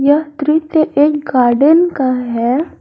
यह दृश्य एक गार्डेन का है।